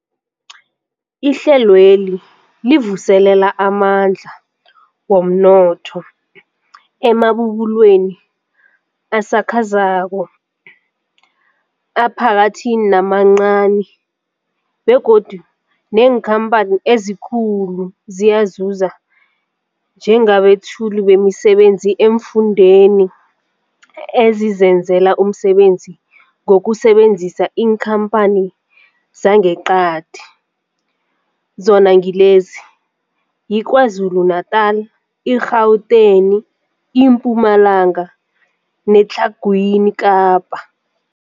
Ihlelweli livuselela amandla womnotho emabubulweni asakhasako, aphakathi namancani begodu neenkhamphani ezikulu ziyazuza njengabethuli bemisebenzi eemfundeni ezizenzela umsebenzi ngokusebenzisa iinkhamphani zangeqadi, zona ngilezi, yiKwaZulu-Natala, i-Gauteng, iMpumalanga neTlhagwini Kapa.